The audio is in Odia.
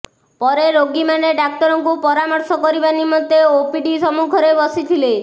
ପରେ ରୋଗୀମାନେ ଡାକ୍ତରଙ୍କୁ ପରାମର୍ଶ କରିବା ନିମନ୍ତେ ଓପିଡି ସମ୍ମୁଖରେ ବସିଥିଲେ